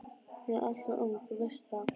Hún er alltof ung, þú veist það.